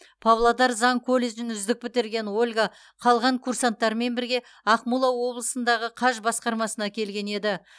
павлодар заң колледжін үздік бітірген ольга қалған курсанттармен бірге ақмола облысындағы қаж басқармасына келген еді